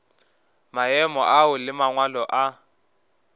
maemo ao le mangwalo a